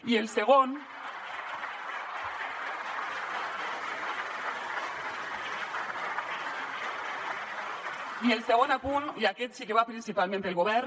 i el segon apunt i aquest sí que va principalment per al govern